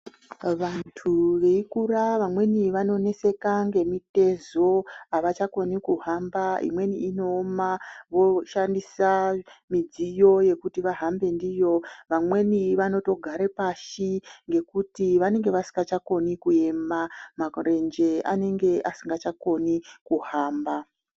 Vantu veikura vamweni vanoneseka ngemitezo, avachakoni kuhamba, imweni inooma voshandisa midziyo yekuti vahambe ndiyo. Vamweni vanotogare pashi ngekuti vanenge vasingachatokoni kuema, marenje anenge asingachakoni kuhamba.